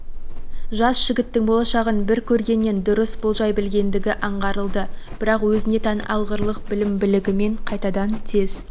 жас жігіттің болашағын бір көргеннен дұрыс болжай білгендігі аңғарылды бірақ өзіне тән алғырлық білім-білігімен қайтадан тез